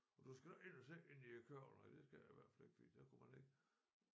Og du skal ind og sidde inde i æ kørvel ej det skal jeg i hvert fald ikke fordi der kunne man ikke